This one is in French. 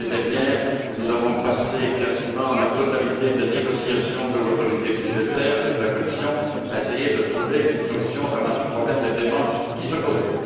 L'année dernière, nous avons passé quasiment la totalité des négociations de l'autorité budgétaire avec la Commission à essayer de trouver une solution au dramatique problème des paiements qui se posait.